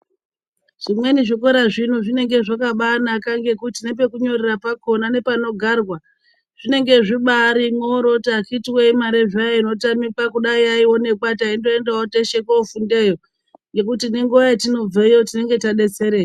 Zvimweni zvikora zvino zvinenge zvakabaanaka ngekuti nepekunyorera pakhona nepanogarwa, zvinenge zvibaarimhoryo. Kuti akhithi woye imari hayo inotamika, kudai yaionekwa, taindoendawo teshe kofundeyo ngekuti nenguwa yatinobveyo nekuti nenguva yetinobveyo tinenge tadetsereka.